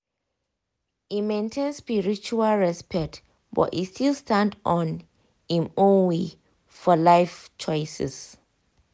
e maintain spiritual respect but e still stand on im **own way** for life choices.